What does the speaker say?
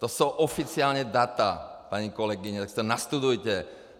To jsou oficiální data, paní kolegyně, tak si to nastudujte!